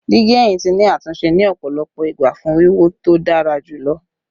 Digi ẹhin ti ni atunṣe ni ọpọlọpọ igba fun wiwo to dara julọ